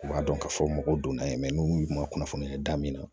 U b'a dɔn k'a fɔ mɔgɔw donna n'u ma kunnafoniya ye da min na